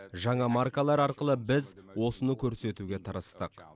жаңа маркалар арқылы біз осыны көрсетуге тырыстық